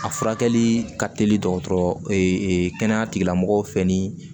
A furakɛli ka teli dɔgɔtɔrɔ fɛ ni